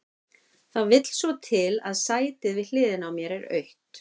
Það vill svo til að sætið við hliðina á mér er autt.